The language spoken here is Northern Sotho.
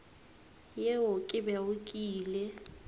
yeo ke bego ke ile